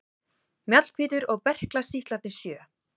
Mjallhvítur og berklasýklarnir sjö.